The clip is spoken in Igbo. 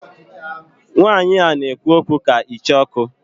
Nwanyi a na ekwu okwu ka Icheoku